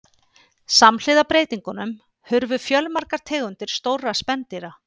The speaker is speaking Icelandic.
Samhliða breytingunum hurfu fjölmargar tegundir stórra spendýra.